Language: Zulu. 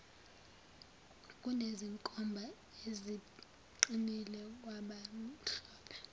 kunezinkomba eziqinile kwabamhlophe